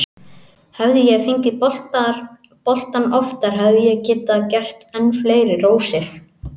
Hefði ég fengið boltann oftar hefði ég getað gert enn fleiri rósir.